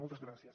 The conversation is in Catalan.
moltes gràcies